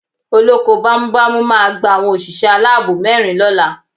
Olóko bámúbamù máa gba àwọn òṣìṣẹ́ aláàbò mẹ́rin lọ́la